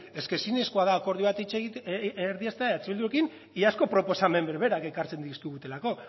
es ke ezinezkoa da akordio bat erdieztea eh bildurekin iazko proposamen berberak ekartzen dizkigutelako